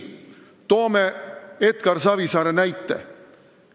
Toome Edgar Savisaare näite.